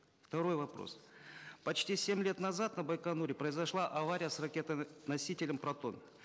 второй вопрос почти семь лет назад на байконуре произошла авария с ракетоносителем протон